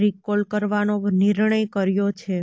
recall કરવાનો નિર્ણય કર્યો છે